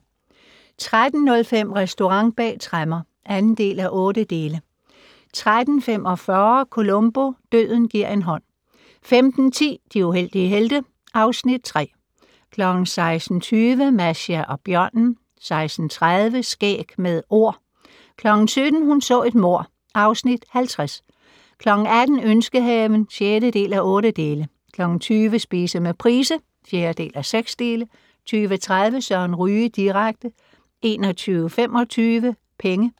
13:05: Restaurant bag tremmer (2:8) 13:45: Columbo: Døden gi'r en hånd 15:10: De uheldige helte (Afs. 3) 16:20: Masha og bjørnen 16:30: Skæg med Ord 17:00: Hun så et mord (Afs. 50) 18:00: Ønskehaven (6:8) 20:00: Spise med Price (4:6) 20:30: Søren Ryge direkte 21:25: Penge